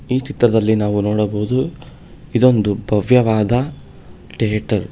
ಈ ಚಿತ್ರದಲ್ಲಿ ನಾವು ನೋಡಬಹುದು ಇದೊಂದು ಭವ್ಯವಾದ ತೇಟರ್ .